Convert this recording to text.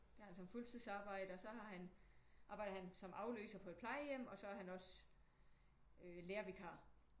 Der har han som fuldtidsarbejde og så har han arbejder han som afløser på et plejehjem og så er han også øh lærervikar